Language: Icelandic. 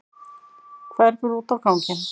Hverfur út á ganginn.